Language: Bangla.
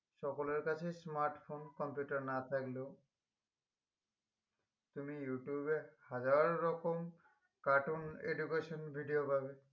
সকলের কাছে smartphone computer না থাকলেও তুমি ইউটিউবে হাজাররকম cartoon education video পাবে